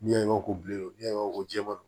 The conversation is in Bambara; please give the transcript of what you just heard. Yan ko bilen o ya ko jɛman